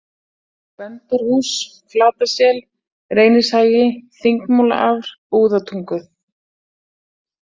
Gvendarhús, Flatasel, Reynishagi, Þingmúlaafr-Búðatungu